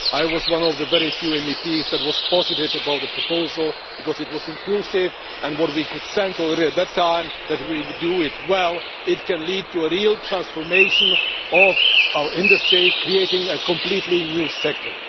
I was one of the very few MEPs who was positive about the proposal, because it was inclusive, and we could already sense at that time that if we handled it well it could lead to a real transformation of our industry, creating a completely new sector.